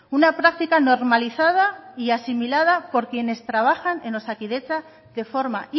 una práctica normalizada y asimilada por quienes trabajan en osakidetza de forma